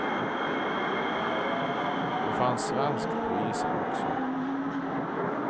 Det fanns svenskt på isen också.